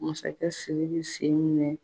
Masakɛ Sidiki sen minɛ.